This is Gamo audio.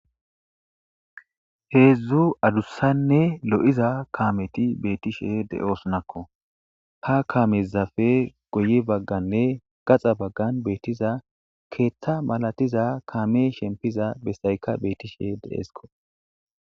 heedzdzu adussanne lo7iza kaameti beetishe de7esnakko ha kamezafe goyi bagganne gaxa baggan beettiza keeththa malatiza kaame shempiza bessayka beetishe de7eesko